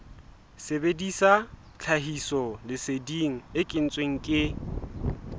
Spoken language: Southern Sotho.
sebedisa tlhahisoleseding e kentsweng ke